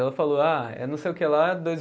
Ela falou, ah, é não sei o que lá dois